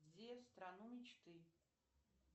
в страну мечты